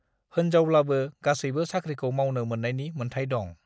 होनजावब्लाबो गासैबो साख्रिखौ मावनो मोन्नायनि मोन्थाय दं।